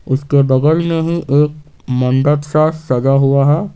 उसके बगल में ही एक मंडप सा सजा हुआ है।